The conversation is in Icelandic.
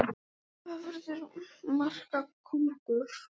Álitið: Hver verður markakóngur?